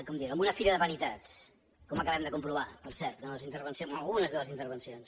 com dir ho en una fira de vanitats com acabem de comprovar per cert en algunes de les intervencions